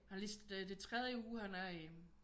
Han er lige det er tredje uge han er i